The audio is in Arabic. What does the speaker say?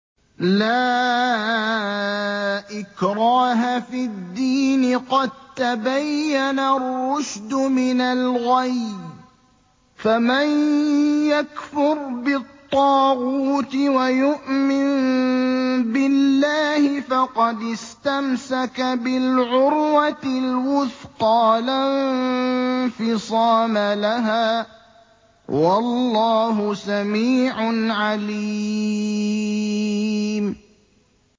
لَا إِكْرَاهَ فِي الدِّينِ ۖ قَد تَّبَيَّنَ الرُّشْدُ مِنَ الْغَيِّ ۚ فَمَن يَكْفُرْ بِالطَّاغُوتِ وَيُؤْمِن بِاللَّهِ فَقَدِ اسْتَمْسَكَ بِالْعُرْوَةِ الْوُثْقَىٰ لَا انفِصَامَ لَهَا ۗ وَاللَّهُ سَمِيعٌ عَلِيمٌ